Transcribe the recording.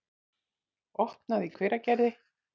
opnað í Hveragerði.